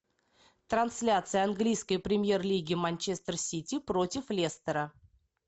трансляция английской премьер лиги манчестер сити против лестера